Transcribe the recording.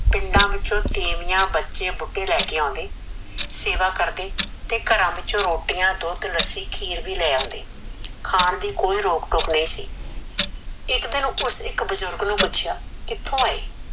ਪਿੰਡਾ ਵਿਚੋ ਤੀਵੀਆ ਬਚੇ ਬੁਡੇ ਲੈ ਕੇ ਆਉਂਦੇ ਸੇਵਾ ਕਰਦੇ ਤੇ ਘਰਾਂ ਵਿਚੋ ਰੋਟੀਆ ਦੁਧ ਲੱਸੀ ਖੀਰ ਵੀ ਲੈ ਆਉਂਦੇ ਖਾਨ ਦੀ ਕੋਈ ਰੋਕ ਟੋਕ ਨਹੀ ਸੀ ਇਕ ਦਿਨ ਓਸ ਇਕ ਬਜੁਰਗ ਨੂ ਪੁਛਿਆ ਕਿਥੋ ਆਏ